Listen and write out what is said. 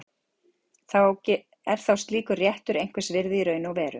Er þá slíkur réttur einhvers virði í raun og veru?